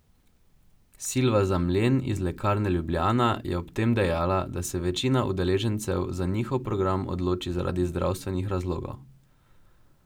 Silva Zamljen iz Lekarne Ljubljana je ob tem dejala, da se večina udeležencev za njihov program odloči zaradi zdravstvenih razlogov.